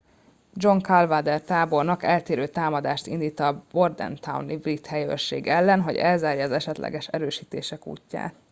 john cadwalder tábornok elterelő támadást indít a bordentowni brit helyőrség ellen hogy elzárja az esetleges erősítések útját